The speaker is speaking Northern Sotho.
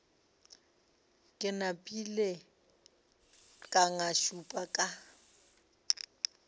ke napile ka ngašula ka